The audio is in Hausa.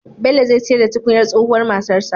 Bello zai siyar da tukunyar tsohuwar matarsa